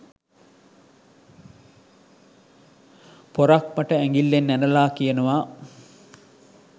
"පොරක්" මට ඇඟිල්ලෙන් ඇනලා කියනවා